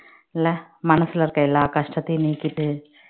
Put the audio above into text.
இல்ல மனசுல இருக்க எல்லா கஷ்டத்தையும் நீக்கிட்டு